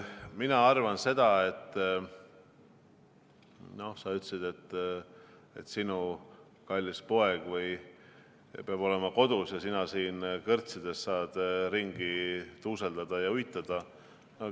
Nüüd, sa ütlesid, et sinu kallis poeg peab olema kodus ja sina saad siin kõrtsides ringi tuuseldada ja uidata.